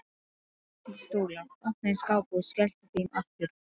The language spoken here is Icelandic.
Dró til stóla, opnaði skápa og skellti þeim aftur.